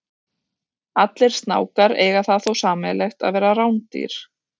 Allir snákar eiga það þó sameiginlegt að vera rándýr.